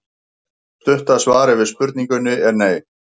Stutta svarið við spurningunni er nei.